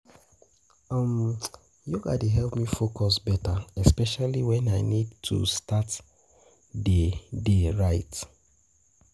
Yoga dey help me focus better, especially when I need to start the day right.